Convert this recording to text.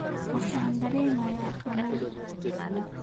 Waxaan dareemayaa qabow